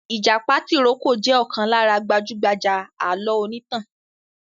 ìjàpá tìrókò jẹ̀ ọ̀kan lára gbajúgbajà alọ onítàn.